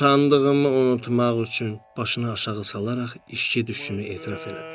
Utandığımı unutmaq üçün başına aşağı salaraq içki düşkünü etiraf elədi.